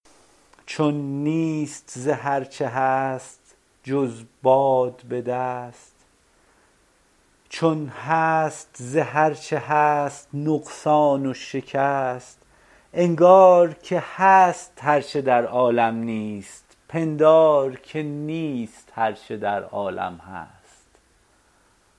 چون نیست ز هر چه هست جز باد به دست چون هست ز هر چه هست نقصان و شکست انگار که هست هر چه در عالم نیست پندار که نیست هر چه در عالم هست